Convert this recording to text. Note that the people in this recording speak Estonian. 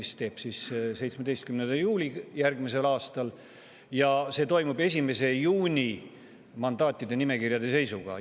See on siis 17. juulil järgmisel aastal ja see toimub 1. juuni mandaatide nimekirjade seisu alusel.